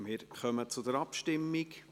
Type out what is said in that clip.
Wir kommen zur Abstimmung.